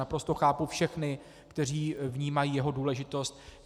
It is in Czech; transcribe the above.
Naprosto chápu všechny, kteří vnímají jeho důležitost.